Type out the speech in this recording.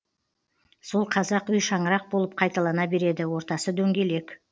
сол қазақ үй шаңырақ болып қайталана береді ортасы дөңгелек